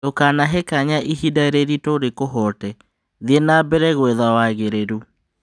Ndũkanahe kanya ihinda rĩritũ rĩkuhoote: thiĩ nambere gũetha wagĩrĩru.